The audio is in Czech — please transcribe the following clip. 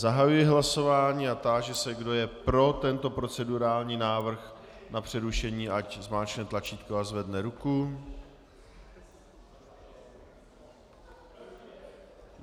Zahajuji hlasování a táži se, kdo je pro tento procedurální návrh na přerušení, ať zmáčkne tlačítko a zvedne ruku.